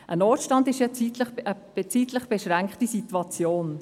– Ein Notstand ist ja eine zeitlich beschränkte Situation.